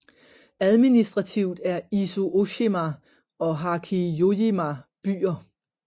Administrativt er Izu Ooshima og Hachijojima byer